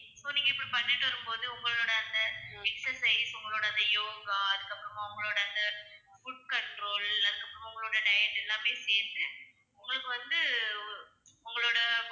so இப்படி நீங்க பண்ணிட்டு வரும்போது உங்களோட அந்த exercise உங்களோட அந்த யோகா அதுக்கப்பறமா உங்களோட அந்த food control அதுக்கப்பறமா உங்களோட diet எல்லாமே சேந்து உங்களுக்கு வந்து உங்களோட